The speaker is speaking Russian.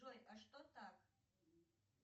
джой а что так